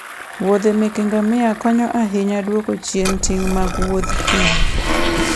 muodhe meke ngamia konyo ahinya e dwoko chien ting' mag Wuoth thim.